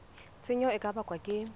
tshenyo e ka bakwang ke